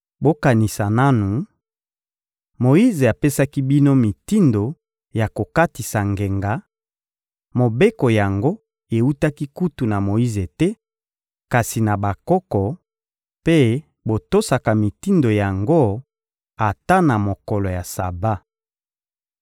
Bokanisa nanu: Moyize apesaki bino mitindo ya kokatisa ngenga, —mobeko yango ewutaki kutu na Moyize te, kasi na bakoko— mpe botosaka mitindo yango ata na mokolo ya Saba.